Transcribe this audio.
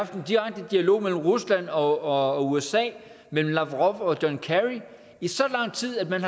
den direkte dialog mellem rusland og usa mellem lavrov og john kerry i så lang tid at man